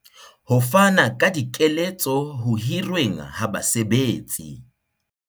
Ho fana ka dikeletso ho hirweng ha basebetsi.